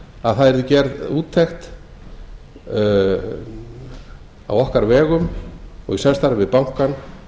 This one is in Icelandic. að það yrði gerð úttekt á okkar vegum og í samstarfi við bankann